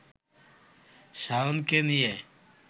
শাওনকে নিয়ে